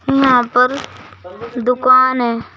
यहां पर दुकान है।